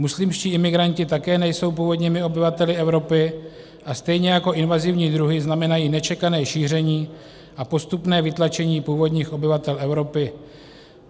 Muslimští imigranti také nejsou původními obyvateli Evropy a stejně jako invazivní druhy znamenají nečekané šíření a postupné vytlačení původních obyvatel Evropy.